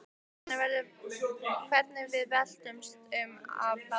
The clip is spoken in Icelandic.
Hvernig við veltumst um af hlátri.